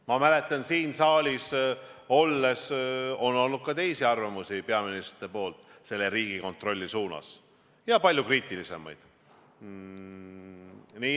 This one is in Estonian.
Ma mäletan, siin saalis on olnud ka teisi arvamusi peaministrite poolt Riigikontrolli suunas ja palju kriitilisemaid.